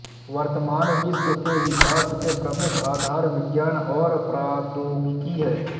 वर्तमान विश्व के विकास के प्रमुख आधार विज्ञान और प्रौद्योगिकी है